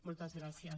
moltes gràcies